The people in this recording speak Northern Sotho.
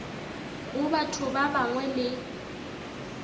go batho ba bangwe le